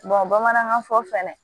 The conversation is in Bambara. bamanankan fɔ fɛnɛ